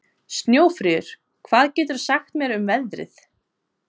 Snjófríður, hvað geturðu sagt mér um veðrið?